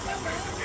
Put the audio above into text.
Qoy qəti boş qoy.